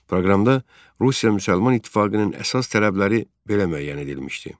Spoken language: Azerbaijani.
Proqramda Rusiya müsəlman İttifaqının əsas tələbləri belə müəyyən edilmişdi.